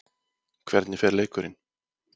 Hvernig fer leikurinn?